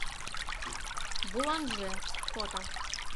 буланже фото